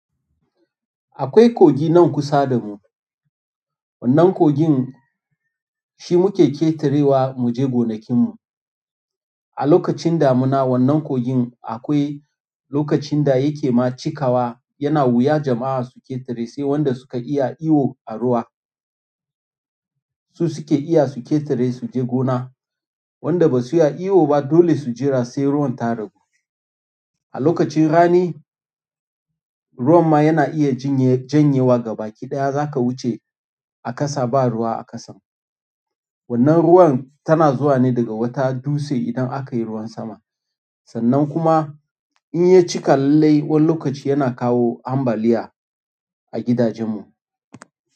Akwai kogi nan kusa da mu. Wannan kogin shi muke ƙetarewa mu je gonakin mu, a lokacin damuna wannan kogin akwai lokacin da yake ma cikawa yana wuya jama'a su ƙetare sai wanda suke iya iwo a ruwa. Su suke iya su ƙetare su je gona. Wanda ba su iya iwo ba dole su jira sai ruwan ta ragu, a lokacin rani, ruwan ma yana iya janye janye wa gabaki ɗaya za ka wuce a ƙasa ba ruwa a ƙasan. Wannan ruwan tana zuwa ne daga wata duse idan aka yi ruwan sama, sannan kuma in ya cika lallai wani lokaci yana kawo ambaliyya a gidajen mu.